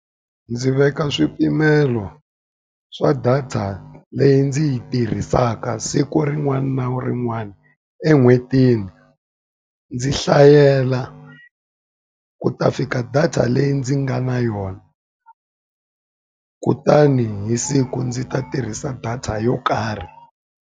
Ndzi veka swipimelo swa data leyi ndzi yi tirhisaka siku rin'wana na rin'wana. En'hwetini ndzi hlayela ku ta fika data leyi ndzi nga na yona, kutani hi siku ndzi ta tirhisa data yo karhi.